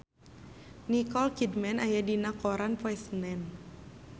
Nicole Kidman aya dina koran poe Senen